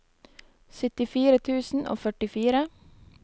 syttifire tusen og førtifire